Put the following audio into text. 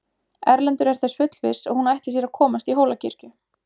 Erlendur er þess fullviss að hún ætli sér að komast í Hólakirkju.